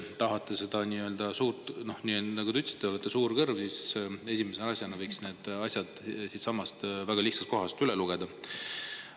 Nagu te ütlesite, te olete suur kõrv, aga esimese asjana võiks need siitsamast väga lihtsast kohast üle lugeda.